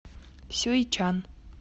сюйчан